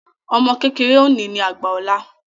Ọmọ kékeré òní ní àgbà ọ̀la